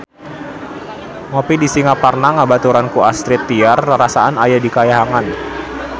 Ngopi di Singaparna dibaturan ku Astrid Tiar rarasaan aya di kahyangan